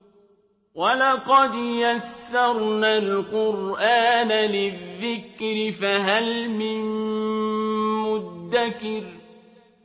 وَلَقَدْ يَسَّرْنَا الْقُرْآنَ لِلذِّكْرِ فَهَلْ مِن مُّدَّكِرٍ